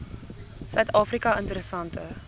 suid afrika interessante